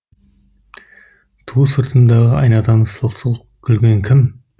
ту сыртымдағы айнадан сылқ сылқ күлген кім